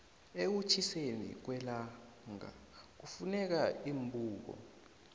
ekutjhiseni kwellangakufuneka iimbuko